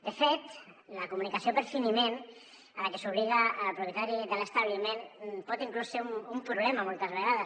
de fet la comunicació per finiment a la que s’obliga al propietari de l’establiment pot inclús ser un problema moltes vegades